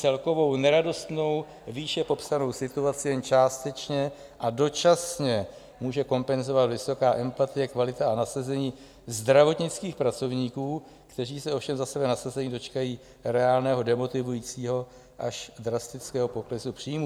Celkovou neradostnou výše popsanou situaci jen částečně a dočasně může kompenzovat vysoká empatie, kvalita a nasazení zdravotnických pracovníků, kteří se ovšem za své nasazení dočkají reálného demotivujícího až drastického poklesu příjmů.